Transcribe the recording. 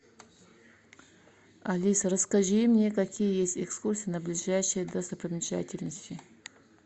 алиса расскажи мне какие есть экскурсии на ближайшие достопримечательности